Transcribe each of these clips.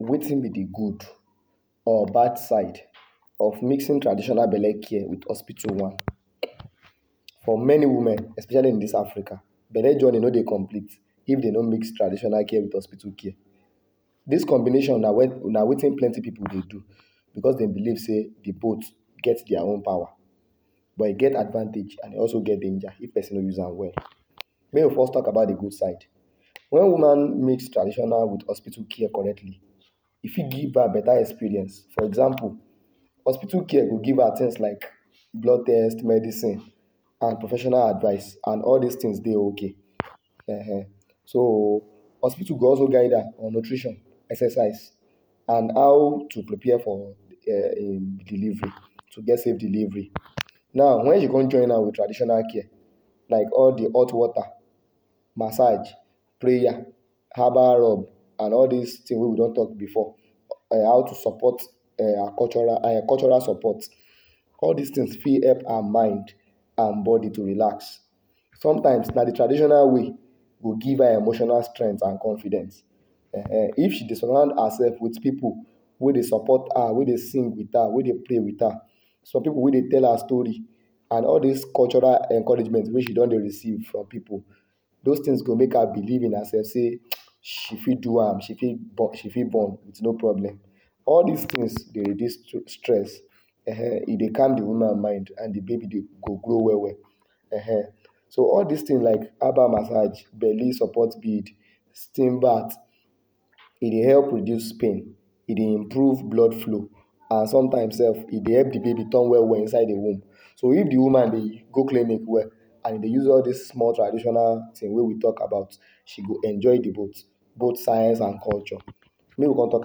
Wetin be de good or bad side of mixing traditional belle care with hospital one? For many women especially in dis Africa, belle journey no dey complete if dem no mix traditional care with hospital care. Dis combination na wetin plenty pipu dey do becos dem believe sey, de both get dia own power but e get advantage and e also get danger if person no use am well. Make we first talk about de good side. Wen woman mix traditional with hospital care correctly, e fit give her beta experience, for example hospital care go give her things like blood test, medicine and professional advice and all dis things dey okay ehen so hospital go also guide on nutrition, exercise and how to prepare for or um delivery to get save delivery. Now wen she con join am with traditional care like all de hot water, massage, prayer, herbal rub and all dis things wey we don talk before how to um support um her cultural cultural support. All dis things fit help her mind and body to relax. Sometimes na de traditional way go give her emotional strength and confidence um if she dey surround herself with pipu wey dey support her wey dey sing with her wey dey pray with her some pipu wey dey tell her story and all dis cultural encouragement wey she don dey receive from pipu, those things go make her believe in herself sey she fit do am she fit she fit born with no problem. All dis things dey reduce stress, um e dey calm de woman mind and de baby dey go grow well well um so all dis things like herbal massage, belly support bead, steam bath, e dey help reduce pain, e dey improve blood flow and sometimes sef e dey help de baby turn well well inside de womb. So if de woman go clinic well and e dey use all dis small traditional things wey we talk about, she go enjoy de both both science and culture. Make we con talk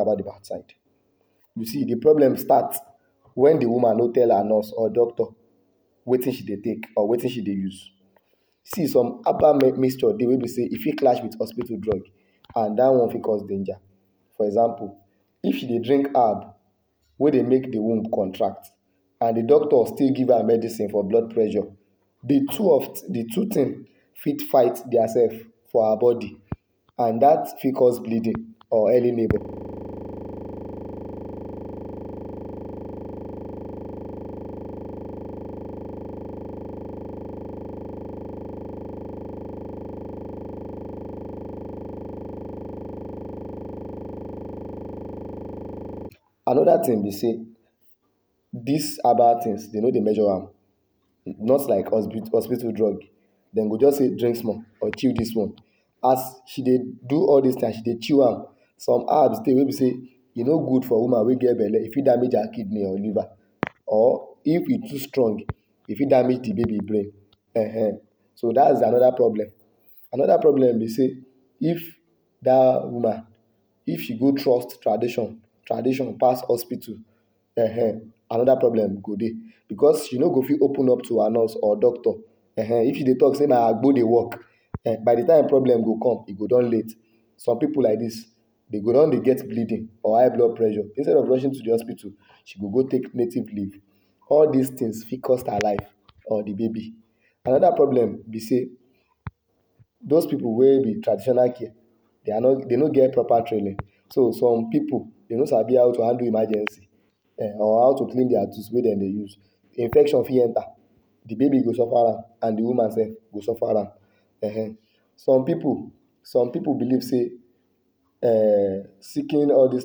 about de bad side, you see de problem start, wen de woman no tell her nurse or doctor wetin she dey take or wetin she dey use. See some herbal mixture dey wey be say e fit clash with hospital drug and dat one fit cause danger, for example if she dey drink herb wey dey make de womb contract and de doctor still give her medicine for blood pressure, de two of de two things fit fight dia sef for her body and dat fit cause bleeding or early labour. Another thing be sey dis herbal things, dey no dey measure am just like hospital drug. Dey go just say drink small or chew dis one. As she dey do all dis things, as she dey chew am some herbs dey wey be sey e no go for woman wey get belle, e fit damage her kidney or liver or if e too strong, e fit damage d baby brain ehen so daz another problem. Another problem be sey if dat woman, if she go trust tradition tradition pass hospital um another problem go dey becos she no go fit open up to her nurse or doctor um if she dey talk say na agbo dey work by de time problem go come e go don late. Some pipu like dis dey go don dey get bleeding or high blood pressure instead of rushing to de hospital she go go take native leave. All dis things fit cost her life or de baby. Another problem be sey those pipu wey be traditional care, dey are not dey no get proper training so some pipu dey no sabi how to handle emergency um or how to clean dia tools wey dem dey use, infection fit enter, de baby go suffer am and de woman sef go suffer am ehen. Some pipu some pipu believe say um seeking all dis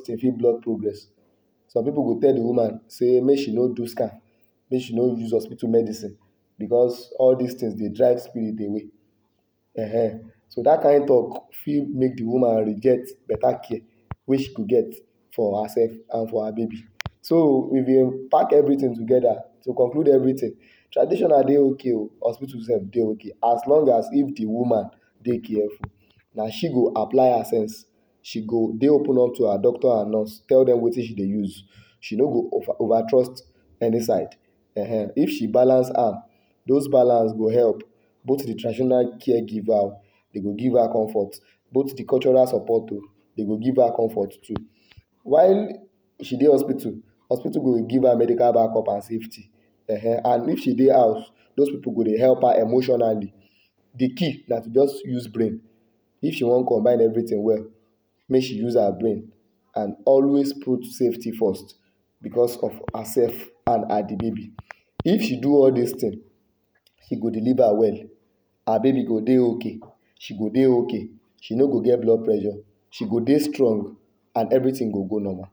things fit block progress, some pipu go tell de woman sey make she no do scan make she no use hospital medicine, becos all dis things dey drive spirit away um so dat kind talk fit make de woman reject beta care wey she go get for hersef and for her baby. So we been pack everything together to conclude everything traditional dey ok o, hospital sef dey ok, as long as if de woman dey careful. Na she go apply her sense, she go dey open up to her doctor and nurse tell dem wetin use, she no go over trust any side um if she balance am, those balance go help both de traditional care giver o, dey go give her comfort, both de cultural support o, dey go give her comfort too. while she dey hospital, hospital go give her medical backup and safety um and if she dey house, those pipu go dey help her emotionally. De key na to just use brain, if she want combine everything well make she use her brain and always put safety first becos of herself and de baby. If she do all dis things, she go deliver well, her baby go dey ok, she go dey ok. She no go get blood pressure, she go dey strong and everything go go normal.